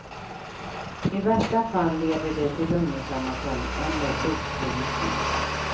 I värsta fall leder det till lunginflammation eller blodförgiftning.